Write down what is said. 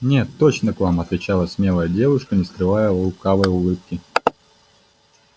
нет точно к вам отвечала смелая девушка не скрывая лукавой улыбки